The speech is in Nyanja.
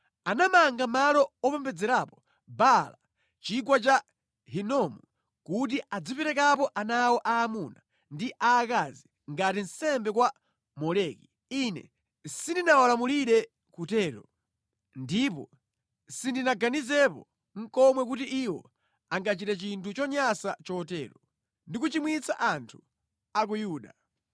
Anamanga malo opembedzerapo Baala mʼChigwa cha Hinomu kuti aziperekapo ana awo aamuna ndi aakazi ngati nsembe kwa Moleki. Ine sindinawalamulire kutero, ndipo sindinaganizepo nʼkomwe kuti iwo angachite chinthu chonyansa chotero, ndi kuchimwitsa anthu a ku Yuda.